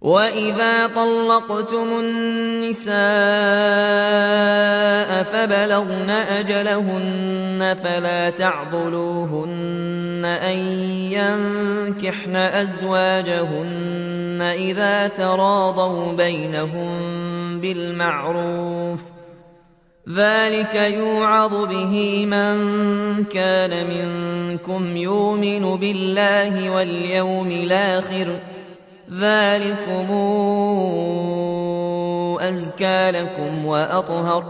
وَإِذَا طَلَّقْتُمُ النِّسَاءَ فَبَلَغْنَ أَجَلَهُنَّ فَلَا تَعْضُلُوهُنَّ أَن يَنكِحْنَ أَزْوَاجَهُنَّ إِذَا تَرَاضَوْا بَيْنَهُم بِالْمَعْرُوفِ ۗ ذَٰلِكَ يُوعَظُ بِهِ مَن كَانَ مِنكُمْ يُؤْمِنُ بِاللَّهِ وَالْيَوْمِ الْآخِرِ ۗ ذَٰلِكُمْ أَزْكَىٰ لَكُمْ وَأَطْهَرُ ۗ